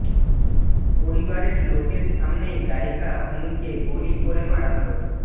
পরিবারের লোকের সামনেই গায়িকা হুনকে গুলি করে মারা হল